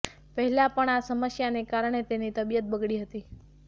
પહેલાં પણ આ સમસ્યાને કારણે તેની તબિયત બગડી હતી